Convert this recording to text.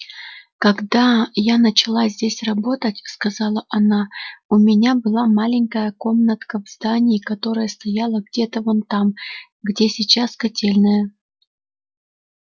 когда я начала здесь работать сказала она у меня была маленькая комнатка в здании которое стояло где-то вон там где сейчас котельная